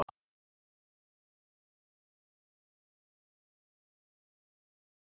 Höfðingjar vildu gæta þess að týna eigi völdum til aðfluttrar stofnunar.